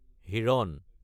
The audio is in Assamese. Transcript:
হিৰণ